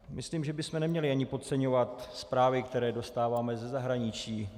Myslím, že bychom neměli ani podceňovat zprávy, které dostáváme za zahraničí.